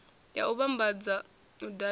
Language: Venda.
ya u vhambadza u davhidzana